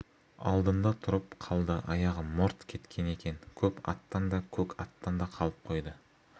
алдында тұрып қалды аяғы морт кеткен екен көп аттан да көк аттан да қалып қойды